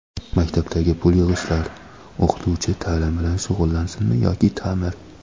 Maktabdagi pul yig‘ishlar: O‘qituvchi taʼlim bilan shug‘ullansinmi yoki taʼmir?.